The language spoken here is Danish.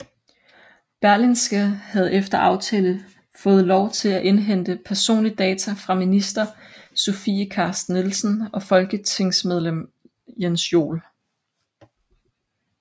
Berlingske havde efter aftale fået lov til at indhente personlig data fra minister Sofie Carsten Nielsen og folketingsmedlem Jens Joel